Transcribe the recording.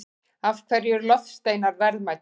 Af hverju eru loftsteinar verðmætir?